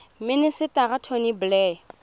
minister tony blair